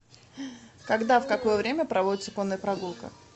когда в какое время проводится конная прогулка